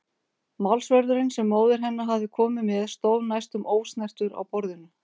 Málsverðurinn sem móðir hennar hafði komið með stóð næstum ósnertur á borðinu.